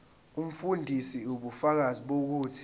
umfundisi ubufakazi bokuthi